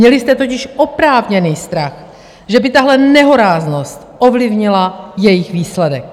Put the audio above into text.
Měli jste totiž oprávněný strach, že by tahle nehoráznost ovlivnila jejich výsledek.